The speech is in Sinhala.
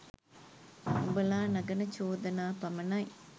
උඹලා නඟන චෝදනා පමණයි.